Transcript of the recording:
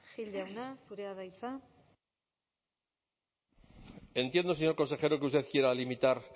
gil jauna zurea da hitza entiendo señor consejero que usted quiera limitar